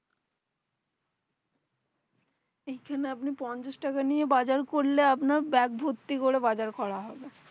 এ খানে আপনি পঞ্চাশ টাকাই নিয়ে বাজার করলেও আপনার ব্যাগ ভত্তি করে বাজার করা হবে